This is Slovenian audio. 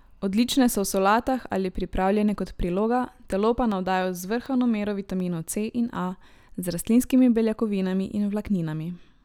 Odlične so v solatah ali pripravljene kot priloga, telo pa navdajo z zvrhano mero vitaminov C in A, z rastlinskimi beljakovinami in vlakninami.